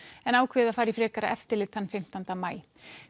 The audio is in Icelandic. en ákveðið að fara í frekara eftirlit þann fimmtánda maí